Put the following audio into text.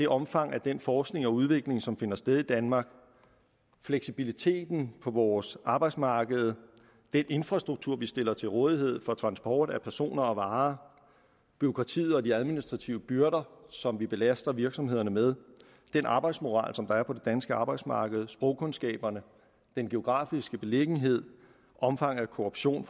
omfanget af den forskning og udvikling som finder sted i danmark fleksibiliteten på vores arbejdsmarked den infrastruktur vi stiller til rådighed for transport af personer og varer bureaukratiet og de administrative byrder som vi belaster virksomhederne med den arbejdsmoral som er på det danske arbejdsmarked sprogkundskaberne den geografiske beliggenhed omfanget af korruption